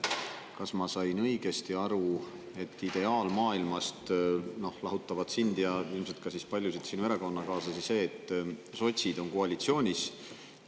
Kas ma sain õigesti aru, et ideaalmaailmast lahutab sind ja ilmselt ka paljusid sinu erakonnakaaslasi see, et sotsid on koalitsioonis?